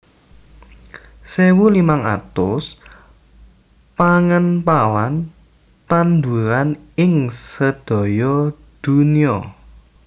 sewu limang atus pangempalan tanduran ing sedaya dunya